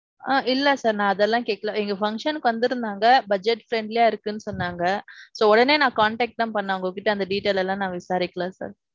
ஆஹ் இல்ல sir நான் அதெல்லாம் கேக்கல இங்க function க்கு வந்திட்ருந்தாங்க. budget friendly யா இருக்குன்னு சொன்னாங்க. so, உடனே நான் contact தான் பண்ணேன். அவங்க கிட்ட அந்த details எல்லாம் நான் விசாரிக்கல sir.